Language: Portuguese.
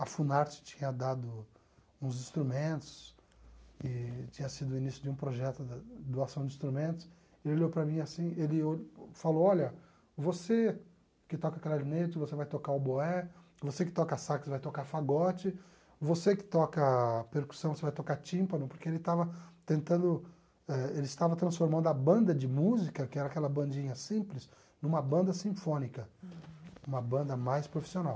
a Funarte tinha dado uns instrumentos e tinha sido o início de um projeto de doação de instrumentos, ele olhou para mim assim, ele falou, olha, você que toca clarinete, você vai tocar o boé, você que toca sax, vai tocar fagote, você que toca percussão, você vai tocar tímpano, porque ele estava tentando, eh ele estava transformando a banda de música, que era aquela bandinha simples, numa banda sinfônica, uma banda mais profissional.